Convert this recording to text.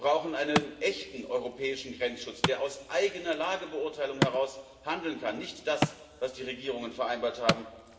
Wir brauchen einen echten europäischen Grenzschutz, der aus eigener Lagebeurteilung heraus handeln kann, nicht das, was die Regierungen vereinbart haben.